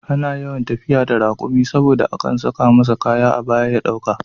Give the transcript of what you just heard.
Ana yawan tafiya da raƙumi saboda akan saka masa kaya a baya ya ɗauka